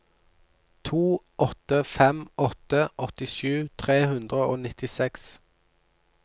to åtte fem åtte åttisju tre hundre og nittiseks